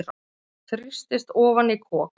Þrýstist ofan í kok.